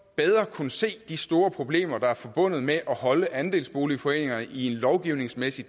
kunne se de store problemer der er forbundet med at holde andelsboligforeninger i en lovgivningsmæssig